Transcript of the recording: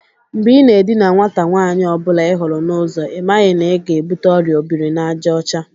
Mgbe i na edina nwata nwaanyi ọ bụla ihuru n'uzo, ị maghị na ị ga-ebute Ọrịa obiri-na-aja ocha?